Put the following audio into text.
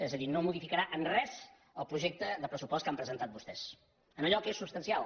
és a dir no modificarà en res el projecte de pressupost que han presentat vostès en allò que és substancial